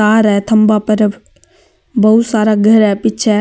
तार है थम्भा पर अब बहुत सारा घर है पीछे --